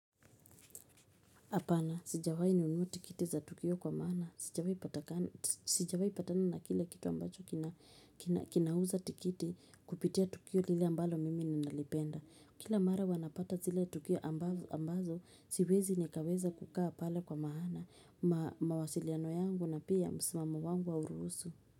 hApana, sijawai nunua tikiti za tukio kwa maana, sijawai patana na kile kitu ambacho kinauza tikiti kupitia tukio lile ambalo mimi ninalipenda. Kila mara huwa napata zile tukio ambazo, siwezi nikaweza kukaa pale kwa maana, mawasiliano yangu na pia msimamo wangu hauruhusu.